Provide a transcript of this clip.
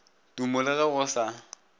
tumo le go ga se